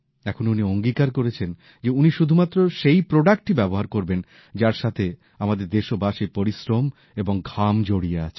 এখন উনি অঙ্গীকার করেছেন যে উনি শুধুমাত্র সেই পণ্যই ব্যবহার করবেন যার সঙ্গে আমাদের দেশবাসীর পরিশ্রম এবং ঘাম জড়িয়ে আছে